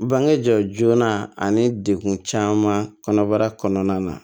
Bange jɔ joona ani degun caman kɔnɔbara kɔnɔna na